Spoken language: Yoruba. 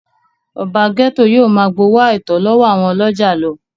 ọba gẹ́tò yóò máa gbowó àìtọ́ lọ́wọ́ àwọn ọlọ́jà lọ